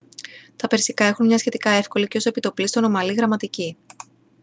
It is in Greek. τα περσικά έχουν μια σχετικά εύκολη και ως επί το πλείστον ομαλή γραμματική